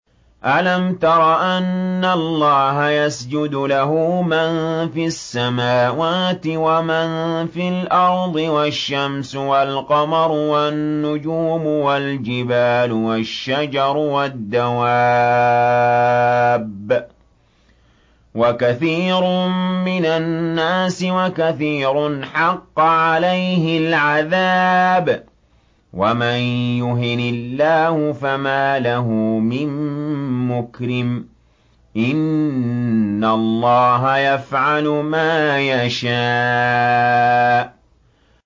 أَلَمْ تَرَ أَنَّ اللَّهَ يَسْجُدُ لَهُ مَن فِي السَّمَاوَاتِ وَمَن فِي الْأَرْضِ وَالشَّمْسُ وَالْقَمَرُ وَالنُّجُومُ وَالْجِبَالُ وَالشَّجَرُ وَالدَّوَابُّ وَكَثِيرٌ مِّنَ النَّاسِ ۖ وَكَثِيرٌ حَقَّ عَلَيْهِ الْعَذَابُ ۗ وَمَن يُهِنِ اللَّهُ فَمَا لَهُ مِن مُّكْرِمٍ ۚ إِنَّ اللَّهَ يَفْعَلُ مَا يَشَاءُ ۩